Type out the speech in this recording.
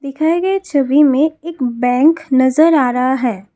दिखाए गए छवि में एक बैंक नजर आ रहा है।